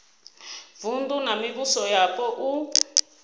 vunu na mivhuso yapo u